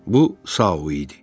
Bu Sao idi.